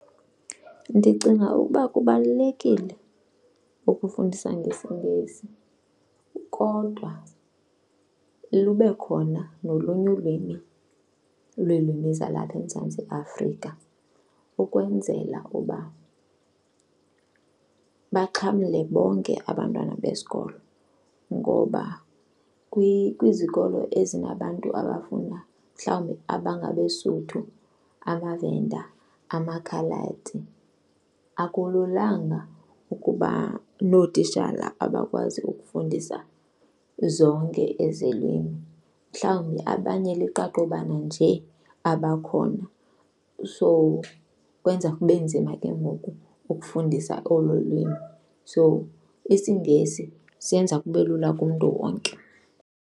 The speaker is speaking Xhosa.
Ndicinga ukuba kubalulekile ukufundisa ngesiNgesi kodwa lube khona nolunye ulwimi, ulwimi lwezalapha eMzantsi Afrika ukwenzela uba baxhamle bonke abantwana besikolo. Ngoba kwizikolo ezinabantu abafunda mhlawumbi abangabeSotho, amaVenda, amakhaladi akululanga ukuba nootishala abakwazi ukufundisa zonke ezi lwimi. Mhlawumbi abanye liqaqobana nje abakhona so kwenza kube nzima ke ngoku ukufundisa olo lwimi. So isiNgesi senza kube lula kumntu wonke.